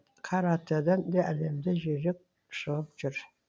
каратэден де әлемде жүйрік шығып жүр